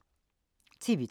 TV 2